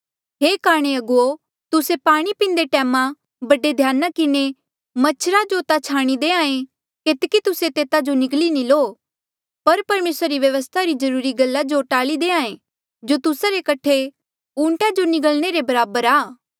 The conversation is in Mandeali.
हे काणे अगुवो तुस्से पाणी पींदे टैमा बड़े ध्याना किन्हें मच्छरा जो ता छाणी देहां ऐें केतकी तुस्से तेता जो निगली नी लो पर परमेसरा री व्यवस्था री जरूरी गल्ला जो टाल्ई देहां ऐें जो तुस्सा रे कठे ऊंटा जो निगल्ने रे बराबर आ